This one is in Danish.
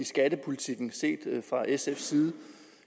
i skattepolitikken fra sfs side